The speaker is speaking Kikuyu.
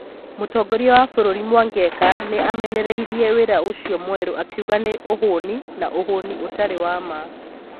Mũtongoria wa bururi Mwangeka nĩ aamenereirie wĩra ũcio mwerũ akiuga nĩ 'ũhũni' na 'ũhũni ũtarĩ wa ma.'